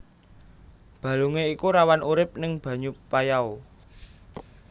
Balungé iku rawan urip ning banyu payau